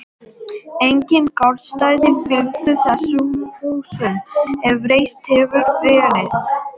Engin garðstæði fylgdu þessum húsum, ef reist hefðu verið.